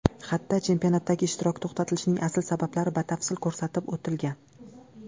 Xatda chempionatdagi ishtirok to‘xtatilishining asl sabablari batafsil ko‘rsatib o‘tilgan.